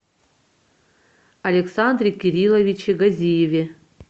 александре кирилловиче газиеве